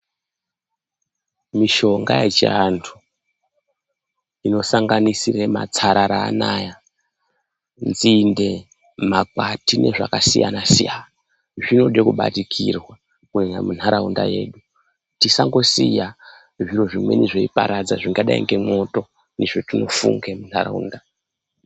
Mishonga yechiantu inosanganisira matsarara anawa nzinde makwati nezvakasiyana siyana zvinoda kubatikirwa mundaraunda yedu tisangosiya zviro zvimweni zveiparadza zvakadei ngemwoto zvatinofunge mundaraunda.